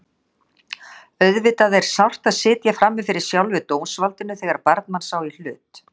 Auðvitað er sárt að sitja frammi fyrir sjálfu dómsvaldinu þegar barn manns á í hlut.